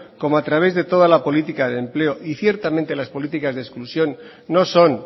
como a través de toda la política de empleo y ciertamente las políticas de exclusión no son